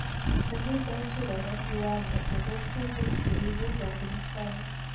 Kikindoji kora kiwango chebo tuguk cheibu kobun sang